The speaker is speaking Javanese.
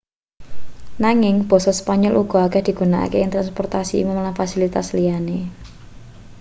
nanging basa spanyol uga akeh digunakake ing transportasi umum lan fasilitas liyane